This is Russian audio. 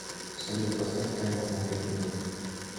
салют поставь таймер на пять минут